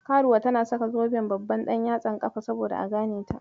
Karuwa tana saka zuben babban ɗanyatsan kafa saboda a ganeta.